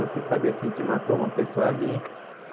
Você sabe, assim, que matou uma pessoa ali.